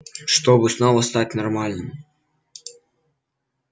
чтобы снова стать нормальным